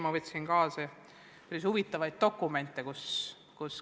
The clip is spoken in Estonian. Ma võtsin siia kaasa päris huvitavaid dokumente.